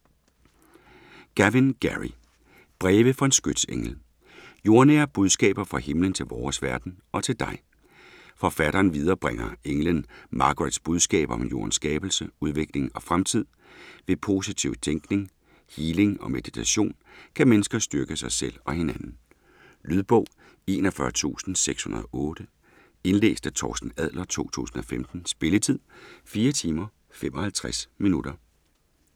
Gavin, Gerry: Breve fra en skytsengel Jordnære budskaber fra himlen til vores verden og til dig. Forfatteren viderebringer englen Margarets budskaber om jordens skabelse, udvikling og fremtid. Ved positiv tænkning, healing og meditation kan mennesker styrke sig selv og hinanden. Lydbog 41608 Indlæst af Torsten Adler, 2015. Spilletid: 4 timer, 55 minutter.